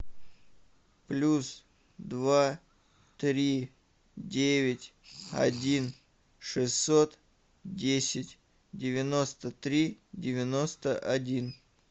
плюс два три девять один шестьсот десять девяносто три девяносто один